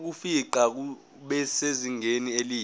bokufingqa busezingeni elihle